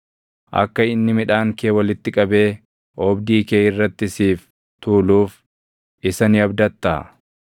Akka inni midhaan kee walitti qabee oobdii kee irratti siif tuuluuf isa ni abdattaa?